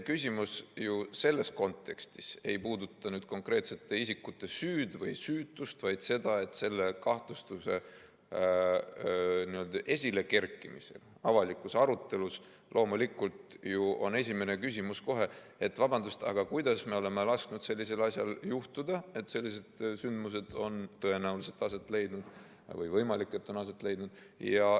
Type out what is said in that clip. Küsimus selles kontekstis ei puuduta konkreetsete isikute süüd või süütust, vaid seda, et selle kahtlustuse esilekerkimisel avalikus arutelus on ju loomulikult kohe esimene küsimus, et vabandust, aga kuidas me oleme lasknud sellisel asjal juhtuda, et sellised sündmused on tõenäoliselt aset leidnud või on võimalik, et on aset leidnud.